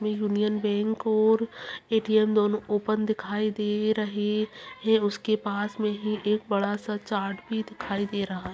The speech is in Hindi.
यूनियन बैंक और ए_टी_एम दोनो ओपन दिखयी दे रहे है उसके पास मे ही एक बडा सा चार्ट भी दिखाई दे रहा--